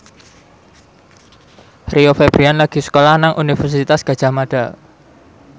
Rio Febrian lagi sekolah nang Universitas Gadjah Mada